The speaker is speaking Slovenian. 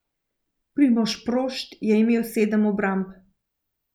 Primož Prošt je imel sedem obramb.